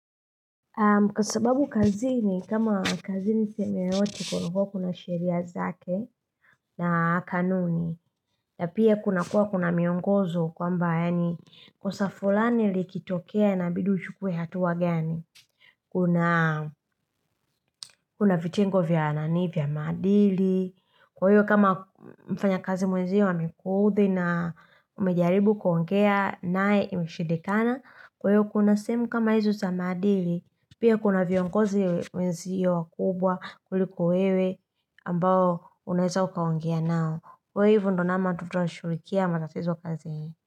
Kwa sababu kazini kama kazi ni sehemu ya watu kunakuwa kuna sheria zake na kanuni na pia kunakuwa kuna miongozo kwamba yaani kosa fulani likitokea inabidi uchukue hatua gani Kuna vitengo vya nani vya maadili Kwa hiyo kama mfanyakazi mwenzio amekuudhi na umejaribu kuongea naye imeshindikana Kwa hiyo kuna sehemu kama hizo za maadili. Pia kuna viongozi wenzio wakubwa kuliko wewe ambao unaeza ukaongea nao. Kwa hivyo ndo namna watu tunashughulikia matatizo kazini.